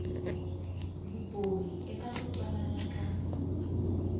vumbhoni eka ku twanana ka